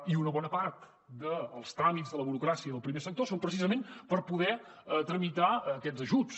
i una bona part dels tràmits de la burocràcia i del primer sector són precisament per poder tramitar aquests ajuts